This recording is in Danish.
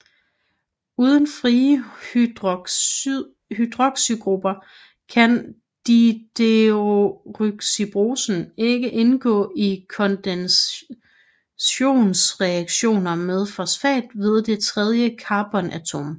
Uden frie hydroxygrupper kan dideoxyribosen ikke indgå i kondensationsreaktioner med fosfat ved det tredje carbonatom